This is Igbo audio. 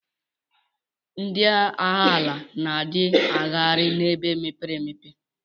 Ndi agha ala na di agaghari na ebe mepere emepe.